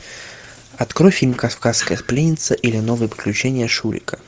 открой фильм кавказская пленница или новые приключения шурика